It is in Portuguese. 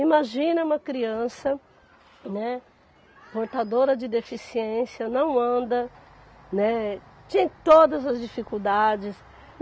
Imagina uma criança, né, portadora de deficiência, não anda, né, tinha todas as dificuldades.